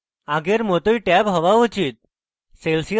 আগেই it tab হওয়া চাই